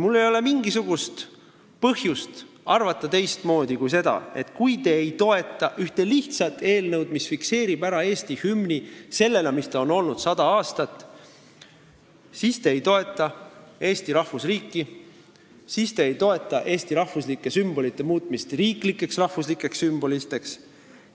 Mul ei ole mingisugust põhjust arvata teistmoodi kui nii, et kui te ei toeta ühte lihtsat eelnõu, mis fikseerib ära Eesti hümni sellisena, nagu ta on olnud sada aastat, siis te ei toeta Eesti rahvusriiki, siis te ei toeta eesti rahvuslike sümbolite muutmist riiklikeks rahvuslikeks sümboliteks,